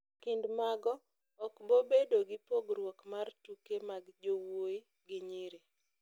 Kind mago, okbobedo gi pogruok mag tuke mag jowui gi nyiri